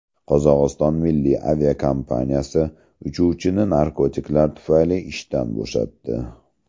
Qozog‘iston milliy aviakompaniyasi uchuvchini narkotiklar tufayli ishdan bo‘shatdi.